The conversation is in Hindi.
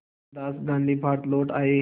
मोहनदास गांधी भारत लौट आए